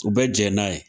U bɛ jɛn n'a ye